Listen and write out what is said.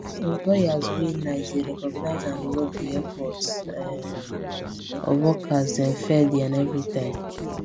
employers wey nice dey recognize and reward the efforts um of workers dem fairly and everytime